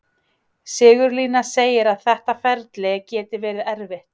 Sigurlína segir að þetta ferli geti verið erfitt: